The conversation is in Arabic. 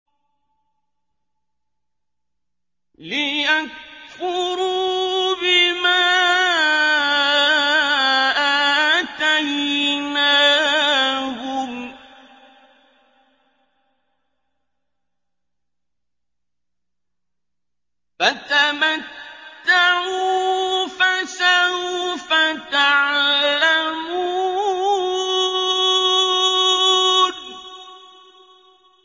لِيَكْفُرُوا بِمَا آتَيْنَاهُمْ ۚ فَتَمَتَّعُوا ۖ فَسَوْفَ تَعْلَمُونَ